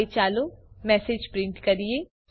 હવે ચાલો message print કરીએ